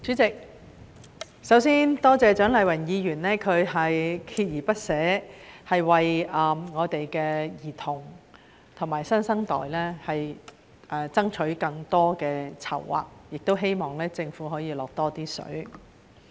主席，首先多謝蔣麗芸議員鍥而不捨地為兒童和新生代爭取更多的籌劃，也希望政府可以"落多些水"。